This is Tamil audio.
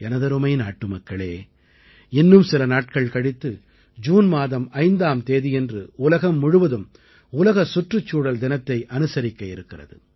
எனதருமை நாட்டுமக்களே இன்னும் சில நாட்கள் கழித்து ஜூன் மாதம் 5ஆம் தேதியன்று உலகம் முழுவதும் உலக சுற்றுச்சூழல் தினத்தை அனுசரிக்க இருக்கிறது